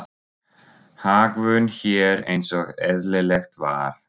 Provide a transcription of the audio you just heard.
Hagvön hér eins og eðlilegt var.